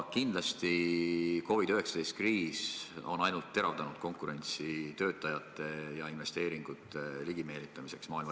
Kindlasti COVID-19 kriis on ainult teravdanud maailma riikide vahelist konkurentsi töötajate ja investeeringute ligimeelitamiseks.